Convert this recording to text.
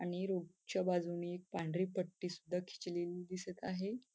आणि रूफ च्या बाजूने एक पांढरी पट्टी सुद्धा खिचलेली दिसत आहे.